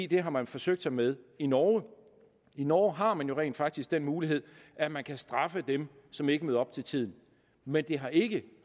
det har man forsøgt sig med i norge i norge har man jo rent faktisk den mulighed at man kan straffe dem som ikke møder op til tiden men det har ikke